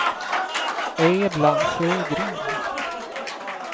Edla Sjögren